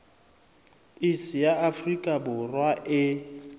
iss ya afrika borwa e